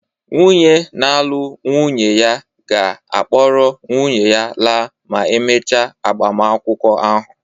Nwunye na-alụ nwunye ya ga-akpọrọ nwunye ya laa ma e mechaa agbamakwụkwọ ahụ